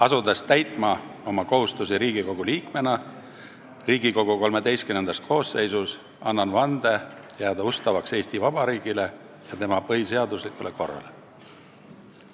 Asudes täitma oma kohustusi Riigikogu liikmena Riigikogu XIII koosseisus, annan vande jääda ustavaks Eesti Vabariigile ja tema põhiseaduslikule korrale.